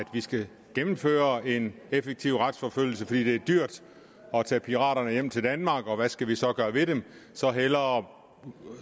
vi skal gennemføre en effektiv retsforfølgelse fordi det er dyrt at tage piraterne hjem til danmark og hvad skal vi så gøre ved dem så hellere